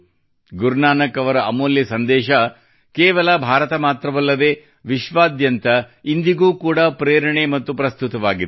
ಗುರುನಾನಕ್ ಅವರ ಅಮೂಲ್ಯ ಸಂದೇಶ ಕೇವಲ ಭಾರತ ಮಾತ್ರವಲ್ಲದೇ ವಿಶ್ವಾದ್ಯಂತ ಇಂದಿಗೂ ಕೂಡಾ ಪ್ರೇರಣೆ ಮತ್ತು ಪ್ರಸ್ತುತವಾಗಿದೆ